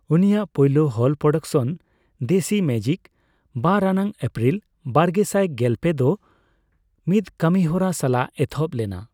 ᱩᱱᱤᱭᱟᱜ ᱯᱩᱭᱞᱳ ᱦᱚᱞ ᱯᱨᱚᱰᱚᱠᱥᱚᱱ, ᱫᱮᱥᱤ ᱢᱮᱡᱤᱠ, ᱵᱟᱨ ᱟᱱᱟᱜ ᱮᱯᱨᱤᱞ ᱵᱟᱨᱜᱮᱥᱟᱭ ᱜᱮᱞᱯᱮ ᱫᱚ ᱢᱤᱫ ᱠᱟᱹᱢᱤᱦᱚᱨᱟ ᱥᱟᱞᱟᱜ ᱮᱛᱚᱦᱚᱵ ᱞᱮᱱᱟ ᱾